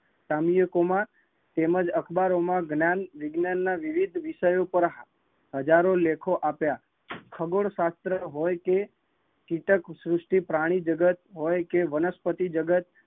કામયકુમાર તેમજ અખબારો ના જ્ઞાન વિજ્ઞાન ના વિવિધ વિષયો પર હજારો લેખો આપ્યા, ખગોળ શસ્ત્ર હોય કે કીટકશ્રુષ્ટિ પ્રાણીજગત હોયકે વનસ્પતિ જગત